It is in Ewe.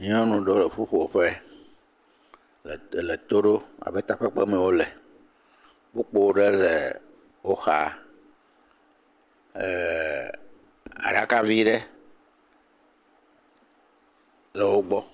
Nyɔnu ɖewo le ƒuƒoƒe le to leto ɖom abe takpekpeme wole. Kpukpo ɖe lee woxa. ɛɛɛɛ, aɖaka vi ɖe le wogbɔ.